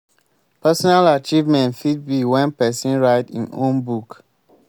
personal achievement fit be when person write im own book